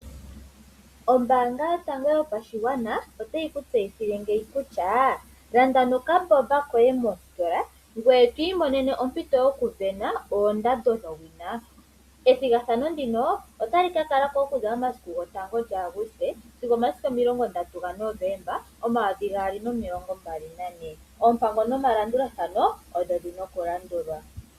Ombanga yotango yopashigwana otayi ku tseyithile ngeyi kutya landa nokaboba koye mositola ngoye to imonene ompito yokuvena oondando dhowina. Ethigathano ndino otali ka kalako okuza mesiku lyotango lyaAguste sigo omilongo ndatu gaNovemba omayovi gaali nomilongo mbali nane. Oompango nomalandulathano odho dhina oku landulwa.